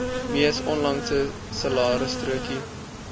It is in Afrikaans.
mees onlangse salarisstrokie